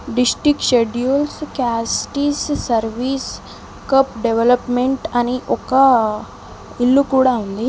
District schedules castes service cup development అని ఒక ఇల్లు కూడ ఉంది.